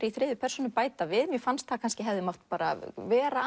í þriðju persónu bæta við mér fannst það hefði mátt vera